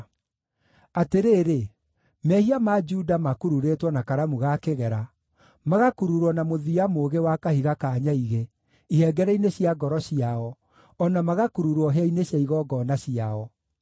“Atĩrĩrĩ, mehia ma Juda makururĩtwo na karamu ga kĩgera, magakururwo na mũthia mũũgĩ wa kahiga ka nyaigĩ, ihengere-inĩ cia ngoro ciao, o na magakururwo hĩa-inĩ cia igongona ciao.